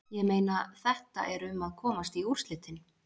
Ég meina, þetta er um að komast í úrslitin.